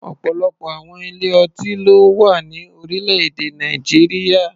Ọ̀pọ̀lọpọ̀ àwọn ilé-ọtí ló wà ní orílẹ̀-èdè Nàìjíríà.